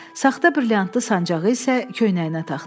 Saxta brilyantlı sancağı isə köynəyinə taxdı.